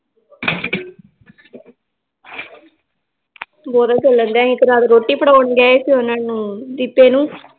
ਗੋਰੇ ਕਲਰ ਦਾ ਹੀ ਤੇ ਰਾਤ ਰੋਟੀ ਫੜਾਉਣ ਗਏ ਸੀ ਓਹਨਾ ਨੂੰ ਜੀਤੇ ਨੂੰ l